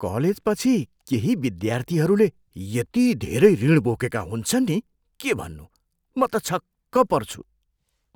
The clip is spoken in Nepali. कलेजपछि केही विद्यार्थीहरूले यति धेरै ऋण बोकेका हुन्छन् नि के भन्नु, म त छक्क पर्छु।